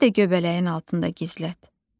Məni də göbələyin altında gizlət.